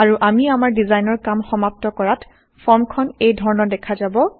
আৰু আমি আমাৰ ডিজাইনৰ কাম সমাপ্ত কৰাত ফৰ্ম খন এই ধৰণৰ দেখা যাব